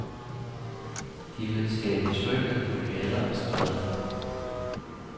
De vil skabe tryghed på gader og stræder.